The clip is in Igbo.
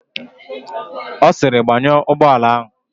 Ọ sịrị, "gbanyụọ ụgbọala áhụ̀"!